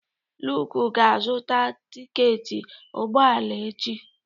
Luke ga-azụta tiketi ụgbọ ala echi.